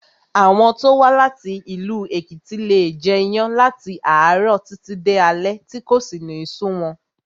Àwọn tó wá láti ìlú Èkìtì leè jẹ iyán láti àárọ̀ títí di alé tí kò sì ní sú wọn